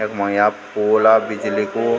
यख्मा या पोल आ बिजली कु।